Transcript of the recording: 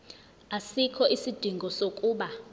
asikho isidingo sokuba